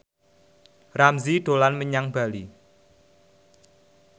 Ramzy dolan menyang Bali